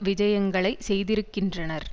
விஜயங்களை செய்திருக்கின்றனர்